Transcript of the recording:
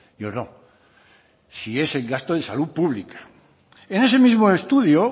yo no si es en gasto en salud pública en ese mismo estudio